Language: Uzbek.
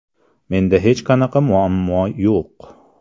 Menda hech qanaqa muammo yo‘q.